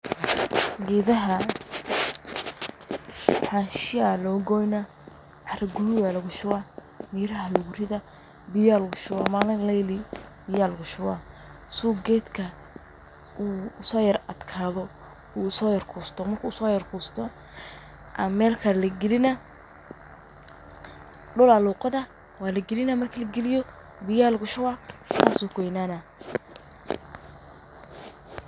Geedaha xanshaa ayaa la gooyaa, cara cuduud lagu shubaa, miraha lagu riddaa, biyo ayaa lagu shubaa. Maalin iyo habeen ayaa lagu daayaa biyaha si geedka uu u yara adkaado, oo uu u yara kusto. Marka uu yara kusto, meel kale ayaa la gelinayaa – dhul ayaa loo qodaa, marka la geliyo, biyo ayaa lagu shubaa. Saas ayuu ku weynaanayaa.